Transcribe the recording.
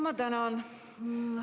Ma tänan!